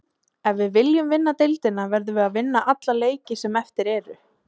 Ef við viljum vinna deildina verðum að vinna alla leiki sem eftir eru.